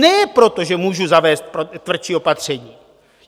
Ne proto, že můžu zavést tvrdší opatření.